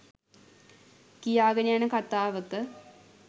කියාගෙන යන කතාවක